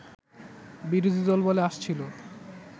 বিরোধীদল বলে আসছিল